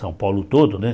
São Paulo todo, né?